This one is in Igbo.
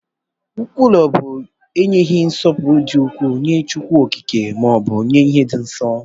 Nkwulu bu enyeghi nsọpụrụ di ukwu nye Chukwu okike ma ọbụ nye ihe di nsọ.